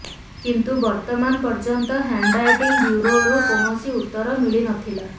କିନ୍ତୁ ବର୍ତ୍ତମାନ ପର୍ଯ୍ୟନ୍ତ ହ୍ୟାଣ୍ଡରାଇଟିଂ ବ୍ୟୁରୋରୁ କୌଣସି ଉତ୍ତର ମିଳିନଥିଲା